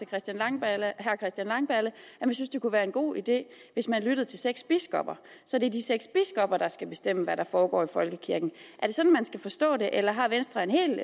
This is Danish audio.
christian langballe at han synes det kunne være en god idé hvis man lyttede til seks biskopper så det er de seks biskopper der skal bestemme hvad der foregår i folkekirken er det sådan man skal forstå det eller har venstre et helt